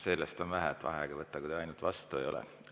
Sellest on vähe, et vaheaega võtta, kui te ainult vastu ei ole.